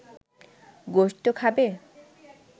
গোস্ত খাবে